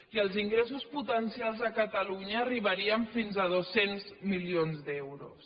i els ingressos potencials a catalunya arribarien fins a dos cents milions d’euros